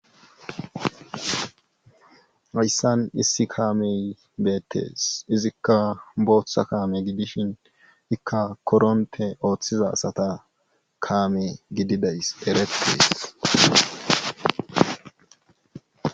Hayssan issi kaamey beettees izikka booththa kaame gidishin ikka koronte ooththiza asata kaame gididays erettees